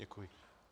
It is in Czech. Děkuji.